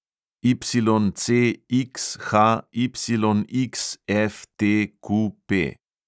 YCXHYXFTQP